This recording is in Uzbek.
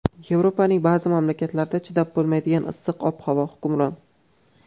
Yevropaning ba’zi mamlakatlarida chidab bo‘lmaydigan issiq ob-havo hukmron.